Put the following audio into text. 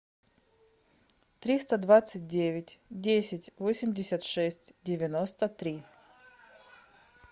триста двадцать девять десять восемьдесят шесть девяносто три